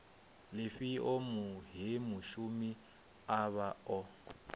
lifhio he mushumi avha o